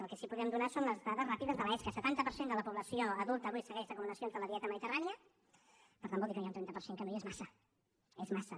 el que sí que podem donar són les dades ràpides de l’esca setanta per cent de la població adulta avui segueix recomanacions de la dieta mediterrània per tant vol dir que hi ha un trenta per cent que no i és massa és massa